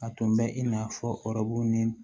A tun bɛ i n'a fɔ ni